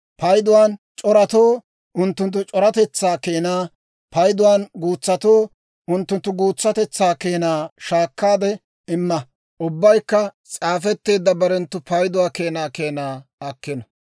Payduwaan c'oratoo unttunttu c'oratetsaa keenaa, payduwaan guutsatoo unttunttu guutsatetsaa keenaa shaakkaade imma. Ubbaykka s'aafetteedda barenttu payduwaa keenaa keenaa akkino.